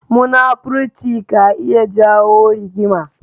Munafurci ka iya jawo rigima.